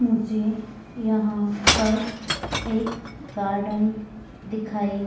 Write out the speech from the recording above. मुझे यहां पर एक गार्डन दिखाई